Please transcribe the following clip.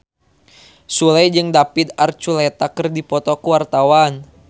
Sule jeung David Archuletta keur dipoto ku wartawan